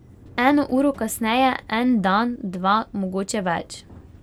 Eno uro kasneje, en dan, dva, mogoče več.